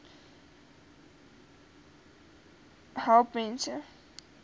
trvterapie help mense